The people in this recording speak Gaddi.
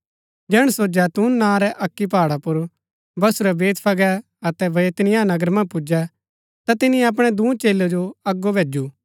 जैहणै सो जैतून नां रै अक्की पहाड़ पुर बसुरै बैतफगे अतै बैतनिय्याह नगर मन्ज पुजै ता तिनी अपणै दूँ चेलै जो अगो भैजू